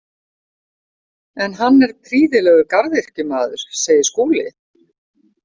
En hann er prýðilegur garðyrkjumaður, segir Skúli.